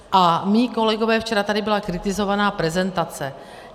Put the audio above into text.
A moji kolegové - včera tady byla kritizována prezentace.